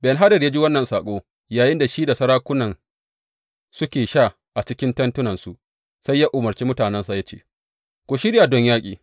Ben Hadad ya ji wannan saƙo yayinda shi da sarakunan suke sha a cikin tentunansu, sai ya umarce mutanensa, ya ce, Ku shirya don yaƙi.